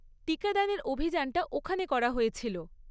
টিকাদানের অভিযানটা ওখানে করা হয়েছিল।